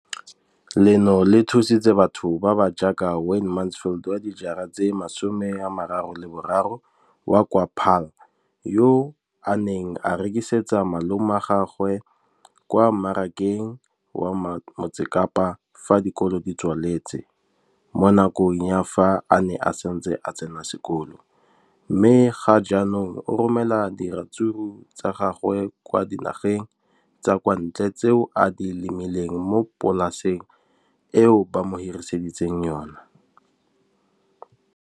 Leno le thusitse batho ba ba jaaka Wayne Mansfield, 33, wa kwa Paarl, yo a neng a rekisetsa malomagwe kwa Marakeng wa Motsekapa fa dikolo di tswaletse, mo nakong ya fa a ne a santse a tsena sekolo, mme ga jaanong o romela diratsuru tsa gagwe kwa dinageng tsa kwa ntle tseo a di lemileng mo polaseng eo ba mo hiriseditseng yona.